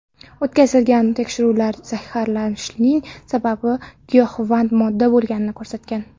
O‘tkazilgan tekshiruvlar zaharlanishning sababi giyohvand modda bo‘lganini ko‘rsatgan.